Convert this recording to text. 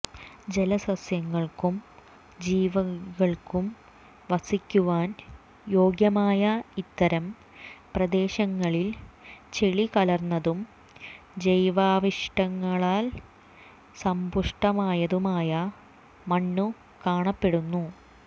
ജലസസ്യങ്ങൾക്കും ജീവികൾക്കും വസിക്കുവാൻ യോഗ്യമായ ഇത്തരം പ്രദേശങ്ങളിൽ ചെളി കലർന്നതും ജൈവാവശിഷ്ടങ്ങളാൽ സമ്പുഷ്ടമായതുമായ മണ്ണു കാണപ്പെടുന്നു